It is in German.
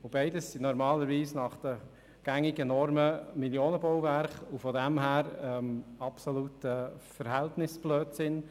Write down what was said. Beides sind normalerweise nach gängigen Normen Millionenbauwerke und daher aus unserer Sicht Verhältnisblödsinn.